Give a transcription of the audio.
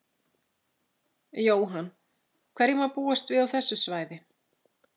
Jóhann: Hverju má búast við á þessu svæði?